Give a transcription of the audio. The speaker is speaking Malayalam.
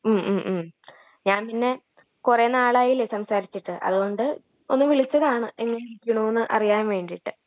മ്, മ്, മ്...ഞാൻ പിന്നെ കുറേ നാളായില്ലേ സംസാരിച്ചിട്ട് അതുകൊണ്ട് ഒന്ന് വിളിച്ചതാണ്...എങ്ങനെ ഇരിക്കണൂ എന്ന് അറിയാൻ വേണ്ടീട്ട്